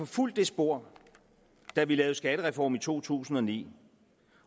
fulgt det spor da vi lavede skattereformen i to tusind og ni